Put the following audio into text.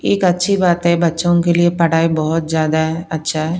एक अच्छी बात है बच्चों के लिए पढ़ाई बहुत ज्यादा अच्छा है।